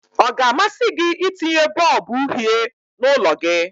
Ọ ga-amasị gị itinye bọlbụ uhie n'ụlọ gị?